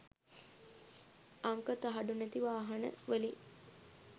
අංක තහඩු නැති වාහන වලින්